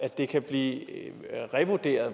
det kan blive revurderet